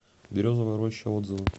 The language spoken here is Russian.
березовая роща отзывы